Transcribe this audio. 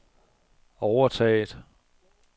overtaget